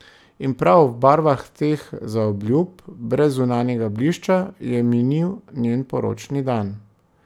In prav v barvah teh zaobljub, brez zunanjega blišča, je minil njen poročni dan.